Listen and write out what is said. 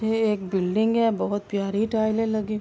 یہ ایک بلڈنگ ہے بھوت پیاری ٹیلے --